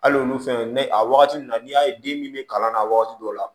Hali olu fɛn ne a wagati nun na n'i y'a ye den min bɛ kalan na wagati dɔw la